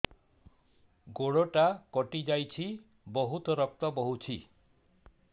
ଗୋଡ଼ଟା କଟି ଯାଇଛି ବହୁତ ରକ୍ତ ବହୁଛି